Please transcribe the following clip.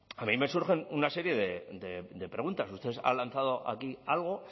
a mí me surgen una serie de preguntas ustedes han lanzado aquí algo